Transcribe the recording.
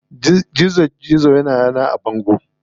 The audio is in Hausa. Gizo ya na yana a bango.